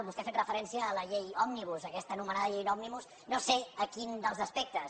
vostè ha fet referència a la llei òmnibus a aquesta anomenada llei òmnibus no sé a quin dels aspectes